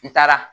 N taara